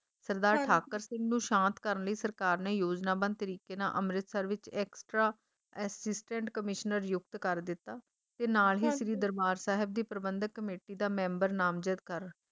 ਸਰਦਾਰ ਠਾਕੁਰ ਸਿੰਘ ਨੂੰ ਸ਼ਾਂਤ ਕਰਨ ਲਈ ਸਰਕਾਰ ਨੇ ਯੋਜਨਾਬੰਦ ਤਰੀਕੇ ਨਾਲ ਅੰਮ੍ਰਿਤਸਰ ਵਿੱਚ extra assistant commissioner ਯੁਕਤ ਕਰ ਦਿੱਤਾ ਤੇ ਨਾਲ ਹੀ ਸ਼੍ਰੀ ਦਰਬਾਰ ਸਾਹਿਬ ਦੀ ਪ੍ਰਬੰਧਕ ਕਮੇਟੀ ਦਾ member ਨਾਮਜ਼ਦ ਕਰ